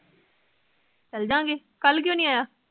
ਚੱਲਾਗੇ ਕੱਲ ਕਿਉ ਨੀ ਆਇਆ